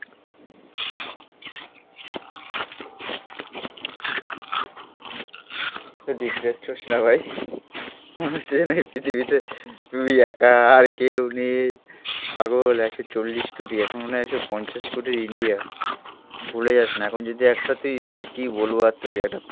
এত ডিপ্রেসড হোশ না ভাই. মনে হচ্ছে যেন এই পৃথিবীতে তুই একা আর কেউ নেই পাগল একশো চল্লিশ কোটি এখন মনে হয় একশো পঞ্চাশ কোটির ইন্ডিয়া. ভুলে যাস না. এখন যদি একটা তুই মানে কি বলব আর তোকে একটা